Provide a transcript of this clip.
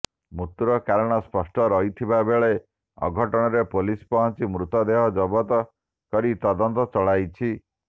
ମୃତ୍ୟୁର କାରଣ ଅସ୍ପଷ୍ଟ ରହିଥିବାବେଳେ ଘଟଣାସ୍ଥଳରେ ପୁଲିସ ପହଂଚି ମୃତଦେହ ଜବତ କରି ତଦନ୍ତ ଚଳାଇଛି